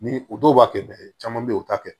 Ni o dɔw b'a kɛ caman be ye u t'a kɛ